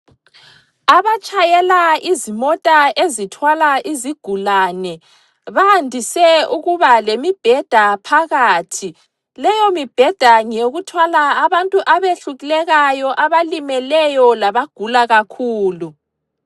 Abatshayela izimota ezithwala izigulane bayandise ukuba lemibheda phakathi. Leyomibheda ngeyokuthwala abantu abehlulekayo, abalimeleyo labagula kakhulu.